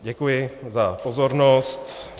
Děkuji za pozornost.